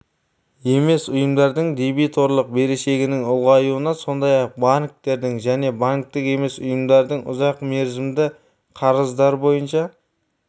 емес ұйымдардың дебиторлық берешегінің ұлғаюына сондай-ақ банктердің және банктік емес ұйымдардың ұзақ мерзімді қарыздар бойынша